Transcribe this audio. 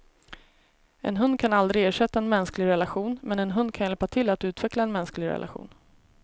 En hund kan aldrig ersätta en mänsklig relation, men en hund kan hjälpa till att utveckla en mänsklig relation.